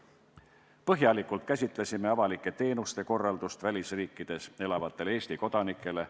Põhjalikult käsitlesime avalike teenuste korraldust välisriikides elavatele Eesti kodanikele.